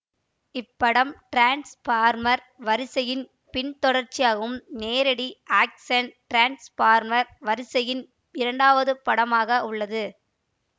இப்படம் டிரான்ஸ்ஃபார்மர் வரிசையின் பின்தொடர்ச்சியாகவும் நேரடி ஆக்ஷன் டிரான்ஸ்ஃபார்மர் வரிசையின் இரண்டாவது படமாக உள்ளது